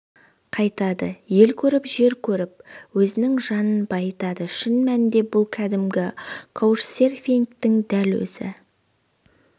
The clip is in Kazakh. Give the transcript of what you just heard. қайтады ел көріп жер көріп өзінің жанын байытады шын мәнінде бұл кәдімгі каучсерфингтің дәл өзі